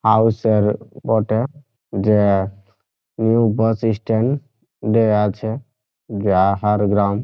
হাউসার বটে যে new bus stand দেয়া আছে গ্রাম।